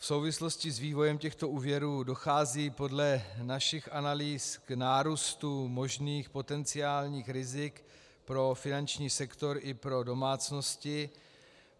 V souvislosti s vývojem těchto úvěrů dochází podle našich analýz k nárůstu možných potenciálních rizik pro finanční sektor i pro domácnosti.